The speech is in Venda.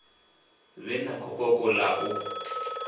vhe na gokoko ḽa u